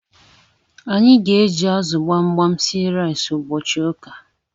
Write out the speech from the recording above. Anyi g'eji azu gbamgbam sie rice ubochi uka